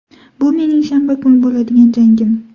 Bu mening shanba kuni bo‘ladigan jangim.